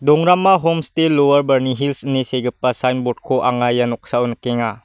dongrama homste lowar barni hils ine segipa signboard-ko anga ia noksao nikenga.